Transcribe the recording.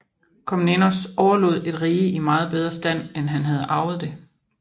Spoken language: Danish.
Komnenos overlod et rige i meget bedre stand end han havde arvet det